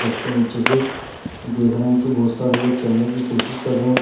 बस के नीचे से देख रहे है की बहुत सारे लोग चढ़ने की कोशिश कर रहे --